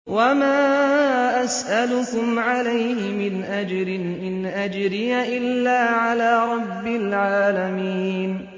وَمَا أَسْأَلُكُمْ عَلَيْهِ مِنْ أَجْرٍ ۖ إِنْ أَجْرِيَ إِلَّا عَلَىٰ رَبِّ الْعَالَمِينَ